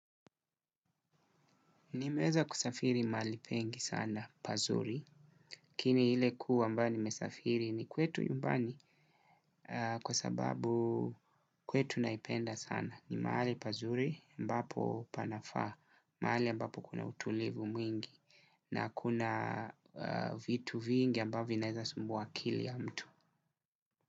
Nimeweza kusafiri mahali pengi sana, pazuri. Kiini ile kuwa ambayo nimesafiri ni kwetu nyumbani kwa sababu kwetu naipenda sana. Ni mahali pazuri ambapo panafaa, mahali ambapo kuna utulivu mwingi na kuna vitu vingi ambavyo naeza sumbua akili ya mtu.